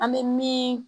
An bɛ min